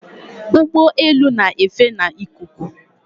Ụgbọelu na-efe n'ikuku